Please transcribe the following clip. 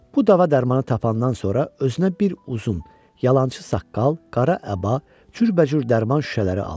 Bu dava dərmanı tapandan sonra özünə bir uzun yalançı saqqal, qara əba, cürbəcür dərman şüşələri alır.